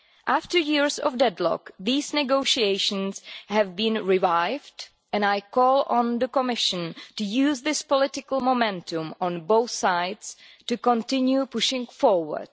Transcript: After years of deadlock these negotiations have been revived and I call on the Commission to use this political momentum on both sides to continue pushing forward.